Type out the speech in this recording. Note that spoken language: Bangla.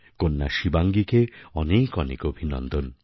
কন্যা শিবাঙ্গীকে অনেক অনেক অভিনন্দন